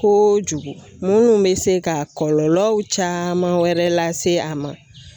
Ko jugu mun bɛ se ka kɔlɔlɔ caman wɛrɛ lase a ma.